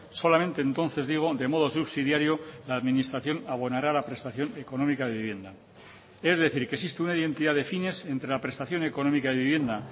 solamente entonces digo de modo subsidiario la administración abonará la prestación económica de vivienda es decir que existe una identidad de fines entre la prestación económica de vivienda